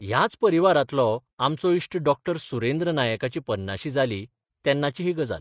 ह्याच परिवारांतलो आमचो इश्ट डॉ सुरेंद्र नायकाची पन्नाशी जाली तेन्नाची ही गजाल.